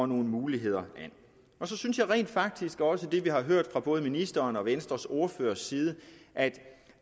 nogle muligheder an så synes jeg rent faktisk også det har vi hørt fra både ministeren og venstres ordførers side at